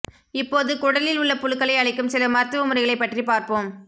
இப்போது குடலில் உள்ள புழுக்களை அழிக்கும் சில மருத்துவ முறைகளைப் பற்றி பார்ப்போம்